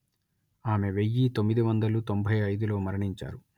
ఆమె వెయ్యి తొమ్మిది వందలు తొంభై అయిదు లో మరణించారు